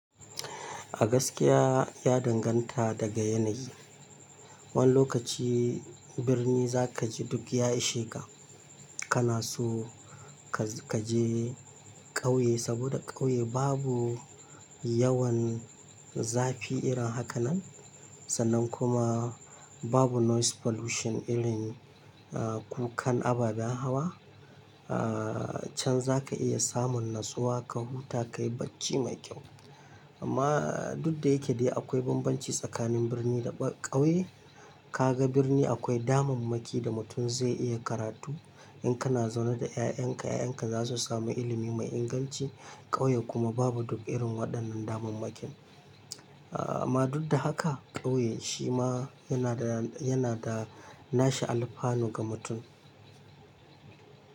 A gaskiya ya danganta daga yanayi. Wani lokaci birni za ka ji duk ya ishe ka. Kana so ka je ƙauye saboda ƙauye babu yawan zafi irin haka nan. Sannan kuma babu noise pollution irin kukan ababen hawa. Can za ka iya samun natsuwa ka huta ka yi bacci mai kyau. Amma duk da yake dai akwai bambanci tsakanin birni da ƙauye. Ka ga birni akwai damammaki da mutum zai iya karatu. In kana zaune da ƴaƴan ka, ƴaƴan ka za su sami ilimi mai inganci. Ƙauye kuma babu duk irin waɗannan damammakin. Amma duk da haka ƙauye shi ma yana da nashi alfano ga mutum.